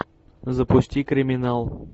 запусти криминал